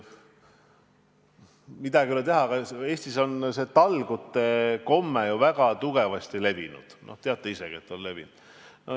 Midagi ei ole teha, Eestis on talgute komme ju väga levinud – te teate ise ka, et on levinud.